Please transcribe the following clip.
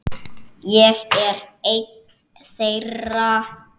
Ég er einn þeirra.